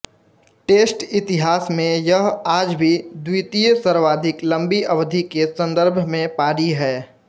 test इतिहास में यह आज भी द्वितीयसर्वाधिक लंबी अवधि के संदर्भ में पारी है